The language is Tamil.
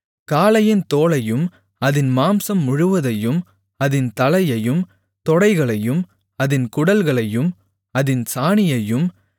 காளையின் தோலையும் அதின் மாம்சம் முழுவதையும் அதின் தலையையும் தொடைகளையும் அதின் குடல்களையும் அதின் சாணியையும்